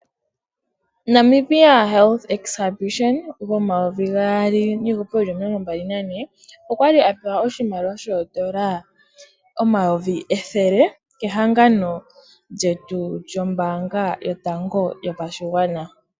Namibia Health Exhibition gomayovi gaali niihupe yili omilongo mbali nane, okwali apewa oshimaliwa shoondola omayovi ethele, kehangano lyetu lyombaanga yotango yopashigwana.